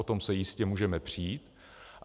O tom se jistě můžeme přít.